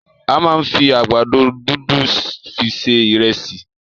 A máa n fí àgbàdo dundun fi se ìresì.